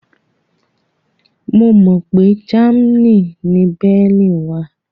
Mo mọ pé Germany ni Berlin wà